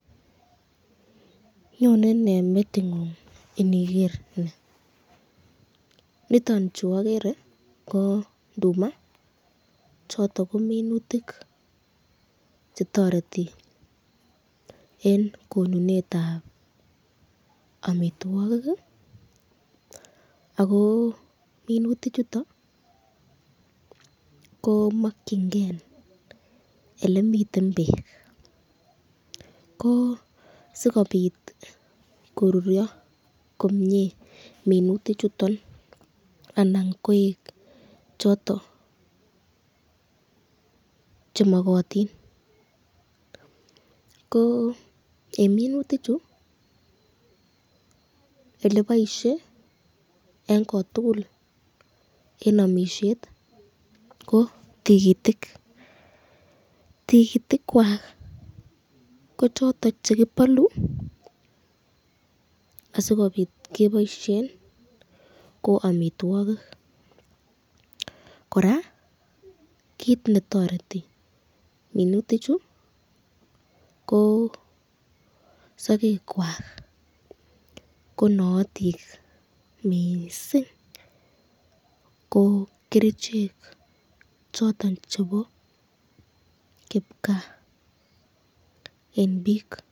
Anyone nee metingung iniger ni, nitoni chuagere ko nduma. Choton ko minutik chetoreti eng konuneab amitwokik ,ako minutik chuton ko makyin ken elemiten bek ,ko sikobit koruryo komye minutik chuton anan koek choton chemakatin. Ko eng minutik chu ko eleboishe eng kotukul eng amisyet ko Tikitik , Tikitik kwak ko choton chekibalu asikobit keboisyen ko amitwokik ,koraa kit netoreti minutik chu ko sakek kelwak ko naatik mising ko kerichek choton chebo kipkaa eng bik.